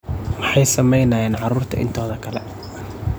Maxay sameynayaan carrurta intooda kale?